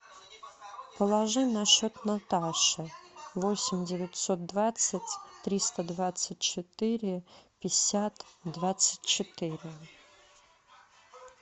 положи на счет наташе восемь девятьсот двадцать триста двадцать четыре пятьдесят двадцать четыре